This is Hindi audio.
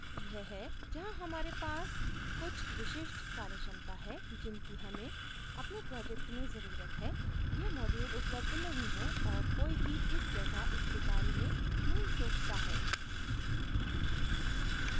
यह है जहाँ हमारे पास कुछ विशिष्ट कार्यक्षमता है जिनकी हमें अपने project में जरूरत है यह module उपलब्ध नहीं है और कोई भी इस जगह इसके बारे में नहीं सोचता है